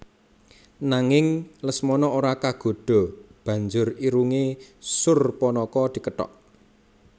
Nanging Lesmana ora kagodha banjur irunge Surpanaka dikethok